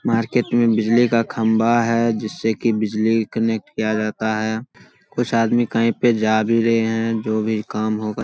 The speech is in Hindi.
मार्केट मे बिजली का खंभा है जिससे की बिजली कनेक्ट किया जाता है। कुछ आदमी कहीं पे जा भी रहे हैं जो भी काम होगा --